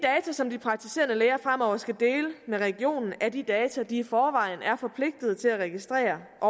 som de praktiserende læger fremover skal dele med regionen er de data de i forvejen er forpligtede til at registrere at